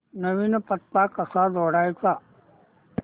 नवीन पत्ता कसा जोडायचा